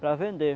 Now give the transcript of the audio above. Para vender.